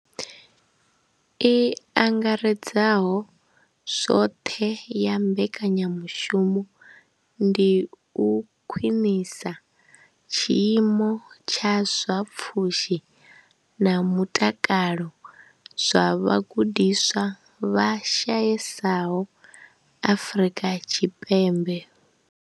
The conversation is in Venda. I angaredzaho zwothe ya mbekanya mushumo ndi u khwinisa tshiimo tsha zwa pfhushi na mutakalo zwa vhagudiswa vha shayesaho afrika Tshipembe.